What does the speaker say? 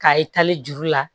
K'a ye tali juru la